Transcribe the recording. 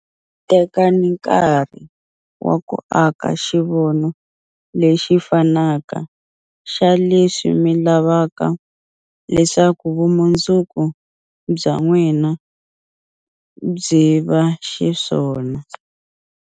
Tekani nkarhi wa ku aka xivono lexi fanaka xa leswi mi lavaka leswaku vumundzuku bya n'wina byi va xiswona.